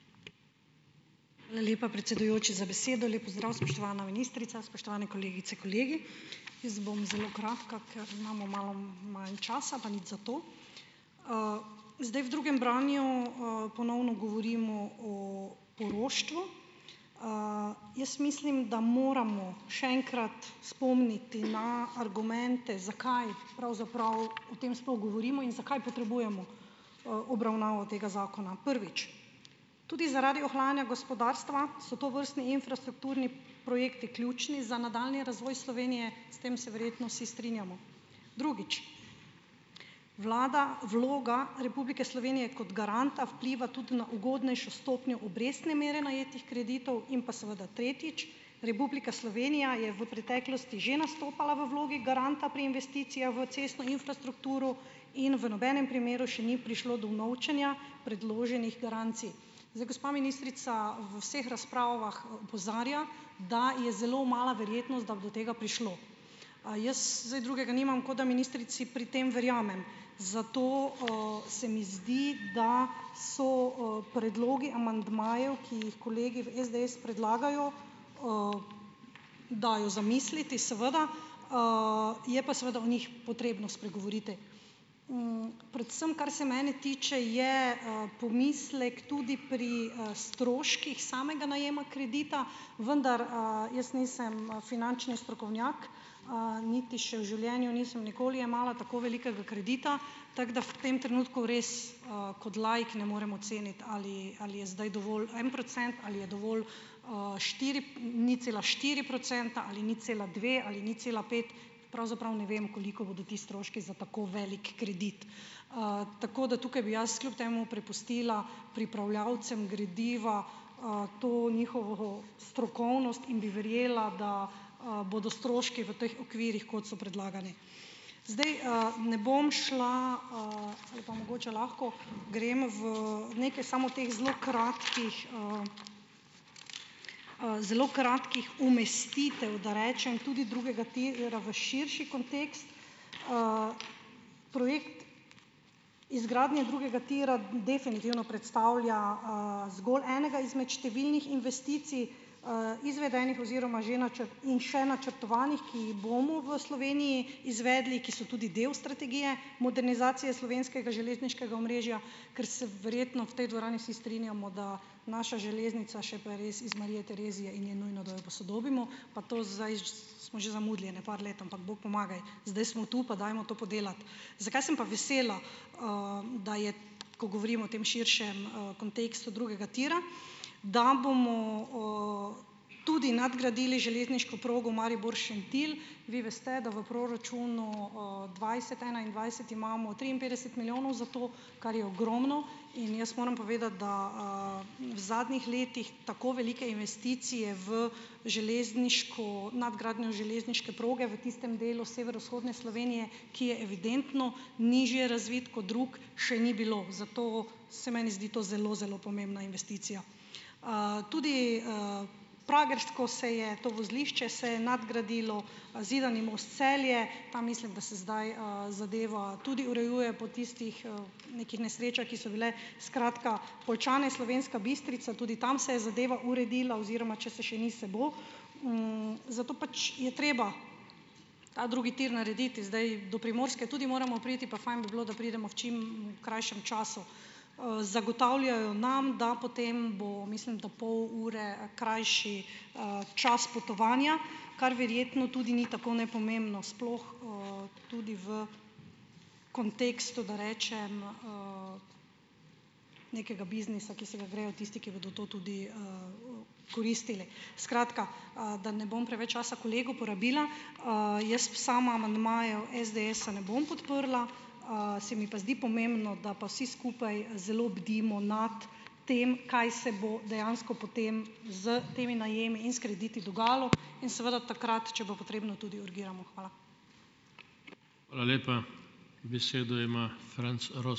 Hvala lepa, predsedujoči, za besedo. Lep pozdrav, spoštovana ministrica! Spoštovani kolegice, kolegi! Jaz bom zelo kratka, ker imamo malo manj časa, pa nič zato. Zdaj, v drugem branju, ponovno govorimo o poroštvu. Jaz mislim, da moramo še enkrat spomniti na argumente, zakaj pravzaprav o tem sploh govorimo in zakaj potrebujemo, obravnavo tega zakona. Prvič, tudi zaradi ohlajanja gospodarstva so tovrstni infrastrukturni projekti ključni za nadaljnji razvoj Slovenije. S tem se verjetno vsi strinjamo. Drugič. Vlada, vloga Republike Slovenije kot garanta vpliva tudi na ugodnejšo stopnjo obrestne mere najetih kreditov. In pa seveda tretjič, Republika Slovenija je v preteklosti že nastopala v vlogi garanta pri investicijah v cestno infrastrukturo in v nobenem primeru še ni prišlo do unovčenja predloženih garancij. Zdaj, gospa ministrica v vseh razpravah opozarja, da je zelo mala verjetnost, da bi do tega prišlo. A jaz zdaj drugega nimam, kot da ministrici pri tem verjamem. Zato, se mi zdi, da so, predlogi amandmajev, ki jih kolegi v SDS predlagajo, dajo za misliti. Seveda, Je pa seveda o njih potrebno spregovoriti. Predvsem kar se mene tiče, je, pomislek tudi pri stroških samega najema kredita, vendar, jaz nisem, finančni strokovnjak, niti še v življenju nisem nikoli jemala tako velikega kredita. Tako da v tem trenutku res, kot laik ne morem oceniti, ali ali je zdaj dovolj en procent ali je dovolj, štiri nič cela štiri procenta ali nič cela dve ali nič cela pet, pravzaprav, ne vem, koliko bodo ti stroški za tako velik kredit. tako da tukaj bi jaz kljub temu prepustila pripravljavcem gradiva, to njihovo strokovnost in bi verjela, bodo stroški v teh okvirih, kot so predlagani. Zdaj, Ne bom šla, ali pa mogoče lahko, grem v nekaj samo teh zelo kratkih, zelo kratkih umestitev, da rečem, tudi drugega tira v širši kontekst. Projekt izgradnje drugega tira definitivno predstavlja, zgolj enega izmed številnih investicij, izvedenih oziroma že in še načrtovanih, ki jih bomo v Sloveniji izvedli, ki so tudi del strategije modernizacije slovenskega železniškega omrežja, ker se verjetno v tej dvorani vsi strinjamo, da naša železnica še pa je res iz Marije Terezije in je nujno, da jo posodobimo. Pa to smo že zamudili ene par let, ampak bog pomagaj. Zdaj smo tu, pa dajmo to podelati. Zakaj sem pa vesela, da je, ko govorimo o tem širšem, kontekstu drugega tira? Da bomo, tudi nadgradili železniško progo Maribor-Šentilj. Vi veste, da v proračunu, dvajset-enaindvajset imamo triinpetdeset milijonov za to, kar je ogromno. In jaz moram povedati, da, v zadnjih letih tako velike investicije v nadgradnjo železniške proge v tistem delu severovzhodne Slovenije, ki je evidentno nižje razvit kot drugi, še ni bilo, zato se meni zdi to zelo zelo pomembna investicija. Tudi, Pragersko se je, to vozlišče, se je nadgradilo, Zidani most-Celje, pa mislim, da se zdaj, zadeva tudi urejuje po tistih, nekih nesrečah, ki so bile, skratka, Poljčane, Slovenska Bistrica, tudi tam se je zadeva uredila oziroma, če se še ni, se bo. Zato pač je treba ta drugi tir narediti. Zdaj, do Primorske tudi moramo priti, pa fajn bi bilo, da pridemo v čim krajšem času. Zagotavljajo nam, da potem bo, mislim, da pol ure krajši, čas potovanja, kar verjetno tudi ni tako nepomembno sploh, tudi v kontekstu, da rečem, nekega biznisa, ki se ga grejo tisti, ki bodo to tudi koristili. Skratka, da ne bom preveč časa kolegu porabila, jaz sama amandmajev SDS-a ne bom podprla, se mi pa zdi pomembno, da pa vsi skupaj zelo bdimo nad tem, kaj se bo dejansko potem s temi najemi in s krediti dogajalo, in seveda takrat, če bo potrebno, tudi urgiramo. Hvala.